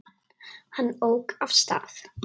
Hann ók af stað.